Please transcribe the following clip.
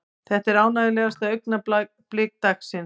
Þetta er ánægjulegasta augnablik dagsins.